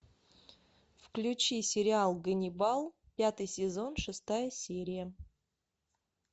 включи сериал ганнибал пятый сезон шестая серия